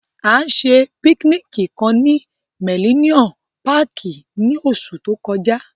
A ṣe pikiniki kan ni Millennium Pààki ni oṣu to kọja.